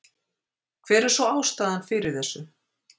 Hver er svo ástæðan fyrir þessu?